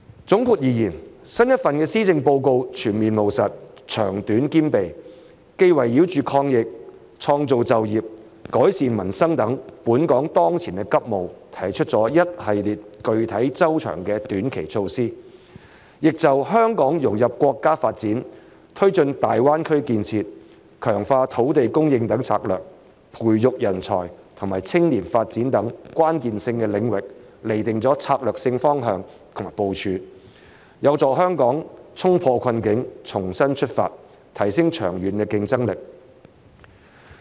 總括而言，新一份施政報告全面務實、長短兼備，既圍繞着抗疫、創造就業、改善民生等本港當前急務提出一系列具體措施，亦就香港融入國家發展、推進大灣區建設、強化土地供應等策略，以及培育人才和青年發展等關鍵性領域，釐定了策略性方向和部署，有助香港衝破困境，重新出發，提升長遠競爭力。